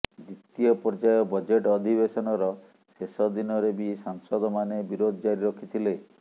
ଦ୍ୱିତୀୟ ପର୍ଯ୍ୟାୟ ବଜେଟ୍ ଅଧିବେଶନର ଶେଷ ଦିନରେ ବି ସାଂସଦମାନେ ବିରୋଧ ଜାରି ରଖିଥିଲେ